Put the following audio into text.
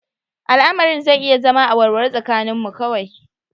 Al'amarin zai iya zama a warware tsakaninmu kawai